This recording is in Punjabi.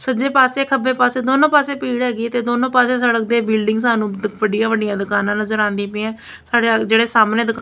ਸੱਜੇ ਪਾਸੇ ਖੱਬੇ ਪਾਸੇ ਦੋਨੋ ਪਾਸੇ ਭੀੜ ਹੈਗੀ ਤੇ ਦੋਨੋਂ ਪਾਸੇ ਸੜਕ ਦੇ ਬਿਲਡਿੰਗ ਸਾਨੂੰ ਵੱਡੀਆਂ ਵੱਡੀਆਂ ਦੁਕਾਨਾਂ ਨਜ਼ਰ ਆਉਂਦੀ ਪਈਆ ਸਾਡੇ ਜਿਹੜੇ ਸਾਹਮਣੇ--